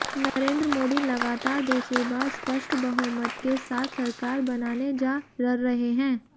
नरेन्द्र मोदी लगातार दूसरी बार स्पष्ट बहुमत के साथ सरकार बनाने जा ररहे हैं